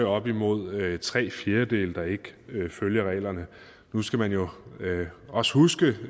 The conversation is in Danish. op imod tre fjerdedele der ikke følger reglerne nu skal man jo også huske det